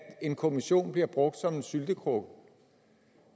en kommission bliver brugt som en syltekrukke